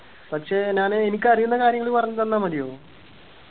പക്ഷെ ഞാന് എനിക്ക് അറിയുന്ന കാര്യങ്ങൾ പറഞ്ഞു തന്നാ മതിയോ